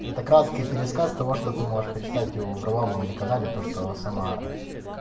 это краткий пересказ того что ты можешь прочитать его у варламова на канале то что сама